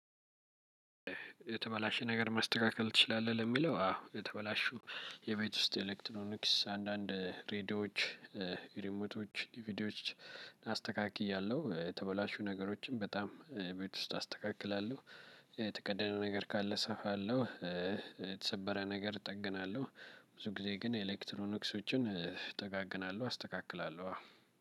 የተበላሸ ነገር ማስተካከል ትችላለህ? ለሚለው አዎ የተበላሹ የቤት ውስጥ ኤሌክትሮኒክስ አንዳንድ ሬድዮዎች ሪሞቶች ዲቪዲዮች። አስተካክያለሁ የተበላሹ ነገሮችን በጣም ቤት ውስጥ አስተካክላለሁ። የተቀደደ ነገር ካለ እሰፋለሁ። የተሰበረ ነገር እጠግናለሁ። ብዙ ጊዜ ግን ኤሌክትሮኒክሶችን እጠጋግናለሁ አስተካክላለሁ።